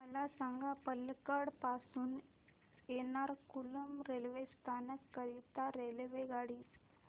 मला सांग पलक्कड पासून एर्नाकुलम रेल्वे स्थानक करीता रेल्वेगाडी